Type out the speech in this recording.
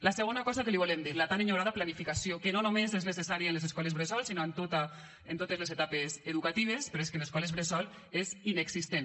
la segona cosa que li volem dir la tan enyorada planificació que no només és necessària en les escoles bressols sinó en totes les etapes educatives però és que en escoles bressol és inexistent